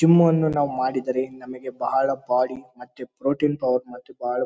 gym ಯನ್ನು ಮಾಡಿದರೆ ನಮಗೆ ಬಹಳ ಬಾಡಿ ಮತ್ತೆ ಪ್ರೊಟೀನ್ ಪವರ್ ಮತ್ತು ಬಹಳ ಬರ--